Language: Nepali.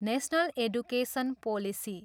National education policy.